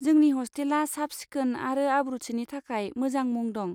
जोंनि हस्टेला साब सिखोन आरो आब्रुथिनि थाखाय मोजां मुं दं।